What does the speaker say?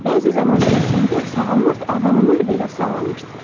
Bəzi zaman kəsiyində sağalmaz adlananlar belə sağalmışdılar.